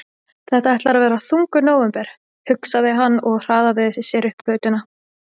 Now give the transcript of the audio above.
Þetta ætlar að verða þungur nóvember, hugsaði hann og hraðaði sér upp götuna.